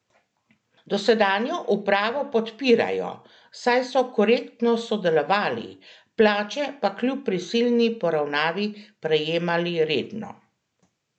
Dosedanjo upravo podpirajo, saj so korektno sodelovali, plače pa kljub prisilni poravnavi prejemali redno.